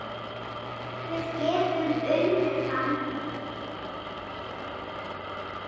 Við getum unnið hann